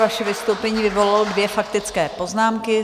Vaše vystoupení vyvolalo dvě faktické poznámky.